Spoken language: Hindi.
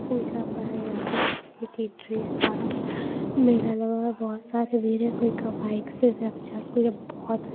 पूजा का है यहां वहाँ मेला लगा हुआ है बहुत सारे कोई बाइक से और ये बहुत--